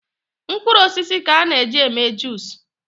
Mkpụrụ osisi ka a na eji eme juice